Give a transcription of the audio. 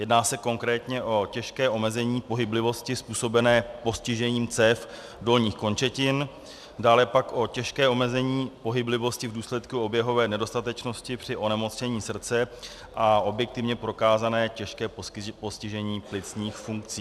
Jedná se konkrétně o těžké omezení pohyblivosti způsobené postižením cév dolních končetin, dále pak o těžké omezení pohyblivosti v důsledku oběhové nedostatečnosti při onemocnění srdce a objektivně prokázané těžké postižení plicních funkcí.